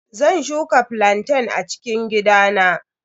Zan shuka flantain a cikin gidana.